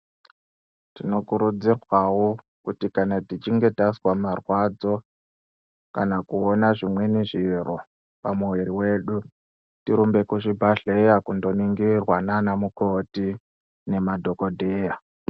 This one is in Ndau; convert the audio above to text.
Tinokurudzirwawo kuti kana tichinge tazwa marwadzo kana kuona zvimweni zviro pamoyo wedu, tirumbe kuzvibhadhleya kundoningirwa naana mukoti nemadhokodheya.